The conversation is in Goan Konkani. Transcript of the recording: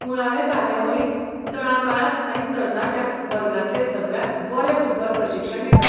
मुळावे कार्यावळींत तळागाळांत आनी तरनाट्यांक वर्गांतलें सगळ्यांत बरें फुटबॉल प्रशिक्षण दितात.